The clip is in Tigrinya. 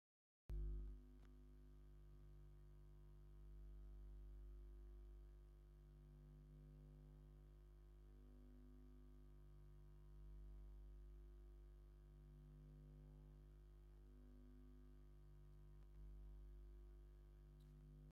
አብ ሃገርና ብርክት ዝበሉ አትሌታት ዘለዎ እንትኮኑ ንሃገሮም ብርክት ዝበሉ መዳሊያታተእውን ዘበርከቱ እዩም። ካብአቶም ቀናኒሳ ፤ጥሩነሽን ካልኦት እንትኮኑ እዚም ናይ ኬንያ ከ ሹሞም መን ዝበሃሉ ይመስለኩሙ?